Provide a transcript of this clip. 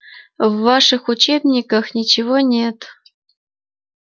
в ваших учебниках ничего нет